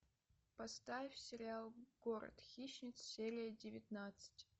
поставь сериал город хищниц серия девятнадцать